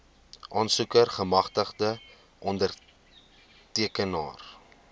aansoeker gemagtigde ondertekenaar